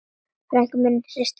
Frænkan hristi höfuðið og hló.